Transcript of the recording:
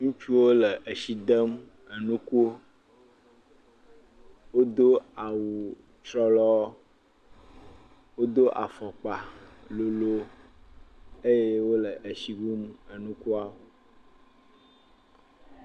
Ŋutsuwo le etsi dem enukuwo, wodo awutsrɔlɔ, wodo afɔkpa lolo eye wole etsi wum enukua.